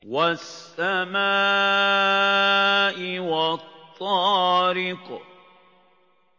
وَالسَّمَاءِ وَالطَّارِقِ